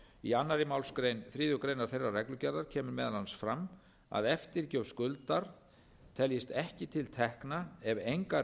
í annarri málsgrein þriðju greinar þeirrar reglugerðar kemur meðal annars fram að eftirgjöf skuldar teljist ekki til tekna ef engar